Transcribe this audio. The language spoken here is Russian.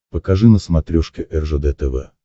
покажи на смотрешке ржд тв